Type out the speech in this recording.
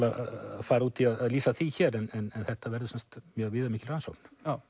að fara út í að lýsa því hér en þetta verður sem sagt mjög viðamikil rannsókn já